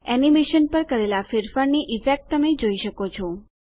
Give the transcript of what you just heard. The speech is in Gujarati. એનીમેશન પર કરેલા ફેરફારની ઈફેક્ટ તમે જોઈ શકો છો